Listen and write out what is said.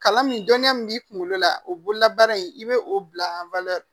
Kalan min dɔnniya min b'i kunkolo la o bololabaara in i bɛ o bila